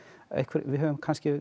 við höfum kannski